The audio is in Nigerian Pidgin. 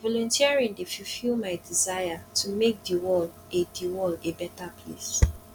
volunteering dey fulfill my desire to make the world a the world a better place